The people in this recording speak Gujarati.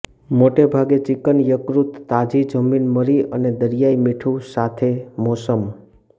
મોટે ભાગે ચિકન યકૃત તાજી જમીન મરી અને દરિયાઇ મીઠું સાથે મોસમ